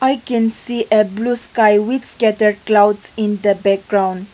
I can see a blue sky with scattered clouds in the background.